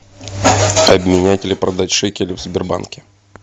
обменять или продать шекели в сбербанке